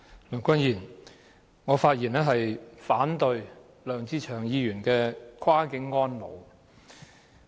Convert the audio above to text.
梁君彥，我發言反對梁志祥議員的"跨境安老"議案。